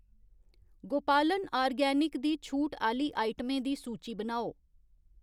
गोपालन आर्गेनिक दी छूट आह्ली आइटमें दी सूची बनाओ